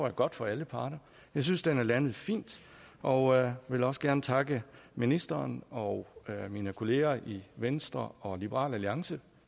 er godt for alle parter jeg synes det er landet fint og jeg vil også gerne takke ministeren og mine kolleger i venstre og liberal alliance